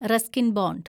Ruskin bond